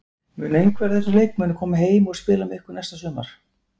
Mun einhver af þessum leikmönnum koma heim og spila með ykkur næsta sumar?